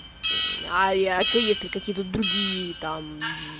а я че если какие-то другие там